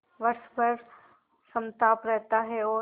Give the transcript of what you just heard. वर्ष भर समताप रहता है और